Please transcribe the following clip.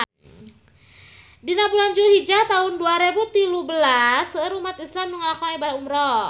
Dina bulan Julhijah taun dua rebu tilu belas seueur umat islam nu ngalakonan ibadah umrah